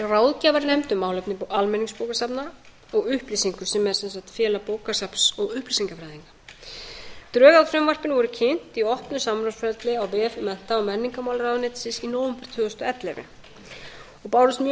ráðgjafarnefnd um málefni almenningsbókasafna og upplýsinga sem er sem sagt félag bókasafns og upplýsingafræðinga drög að frumvarpinu voru kynnt í opnu samráðsferli á vef mennta og menningarmálaráðuneytisins í nóvember tvö þúsund og ellefu og bárust mjög